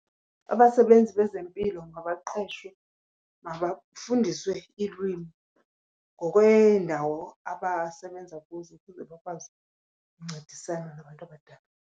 Abasebenzi bezempilo mabaqeshwe, mabafundiswe iilwimi ngokweendawo abasebenza kuzo ukuze bakwazi uncedisana nabantu abadala.